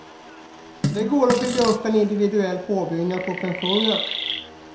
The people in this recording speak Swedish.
Det går att bygga upp en individuell påbyggnad på pensionen.